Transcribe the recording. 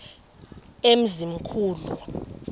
emzimkhulu